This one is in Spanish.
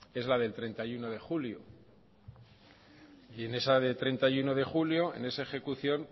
es la del treinta y uno de julio en esa del treinta y uno de julio en esa ejecución